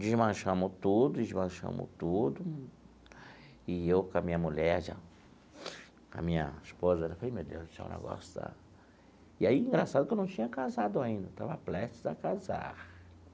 desmanchamos tudo, desmanchamos tudo, e eu com a minha mulher, já, a minha esposa, eu falei, meu Deus do céu, o negócio está... E aí, engraçado que eu não tinha casado ainda, eu estava prestes a casar.